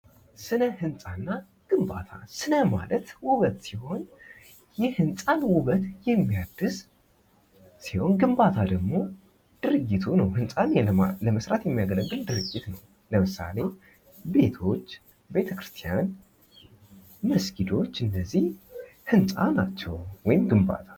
ስነ ህጻና ግንባታ ስነ ማለት ውበት ሲሆን ይህንጻን ውበት የሚያድስ ሲሆን ግንባታ ደግሞ ድርጅቱ ነው ህንፃ ለመስራት የሚያገለግል ድርጅት ነው። ለምሳሌ፦ ቤቶች፣ ቤተክርስቲያን መስኪዶች እነዚህ ህንጻ ናቸው ወይም ግንባታ።